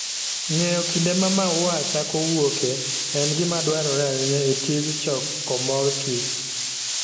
Ng'eyo kinde ma maua chako wuokie en gima dwarore ahinya e tij choko mor kich.